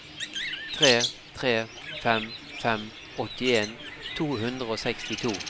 tre tre fem fem åttien to hundre og sekstito